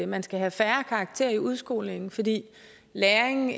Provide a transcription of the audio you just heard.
man skal have færre karakterer i udskolingen fordi læring